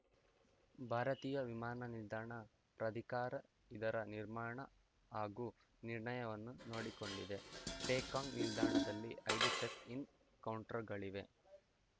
ಭಾರತೀಯ ವಿಮಾನ ನಿಲ್ದಾಣ ಪ್ರಾಧಿಕಾರ ಇದರ ನಿರ್ಮಾಣ ಹಾಗೂ ನಿರ್ಣಯವನ್ನು ನೋಡಿಕೊಂಡಿದೆ ಪೇಕಾಂಗ್‌ ನಿಲ್ದಾಣದಲ್ಲಿ ಐದು ಚೆಕ್‌ ಇನ್‌ ಕೌಂಟರ್‌ಗಳಿವೆ